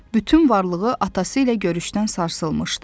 Bütün varlığı atası ilə görüşdən sarsılmışdı.